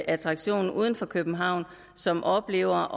attraktion uden for københavn som oplever